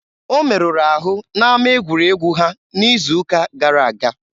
O merụrụ ahụ n'ama egwuregwu ha n'izu ụka gara aga.